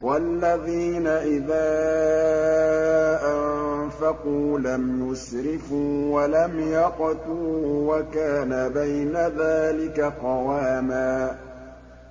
وَالَّذِينَ إِذَا أَنفَقُوا لَمْ يُسْرِفُوا وَلَمْ يَقْتُرُوا وَكَانَ بَيْنَ ذَٰلِكَ قَوَامًا